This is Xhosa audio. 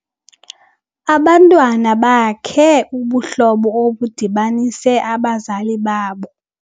Abantwana bakhe ubuhlobo obudibanise abazali babo.